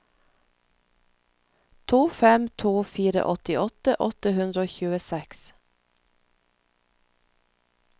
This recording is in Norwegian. to fem to fire åttiåtte åtte hundre og tjueseks